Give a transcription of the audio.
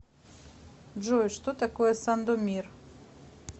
джой что такое сандомир